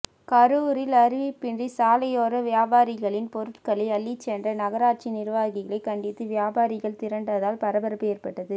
கரூரில் அறிவிப்பின்றி சாலையோர வியாபாரிகளின் பொருட்களை அள்ளிச்சென்ற நகராட்சி நிர்வாகிகளை கண்டித்து வியாபாரிகள் திரண்டதால் பரபரப்பு ஏற்பட்டது